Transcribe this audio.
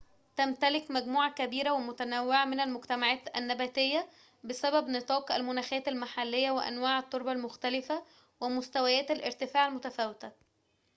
تمتلك مجموعة كبيرة ومتنوعة من المجتمعات النباتية بسبب نطاق المناخات المحلية وأنواع التربة المختلفة ومستويات الارتفاع المتفاوتة